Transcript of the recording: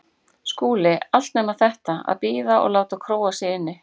SKÚLI: Allt nema þetta: að bíða og láta króa sig inni.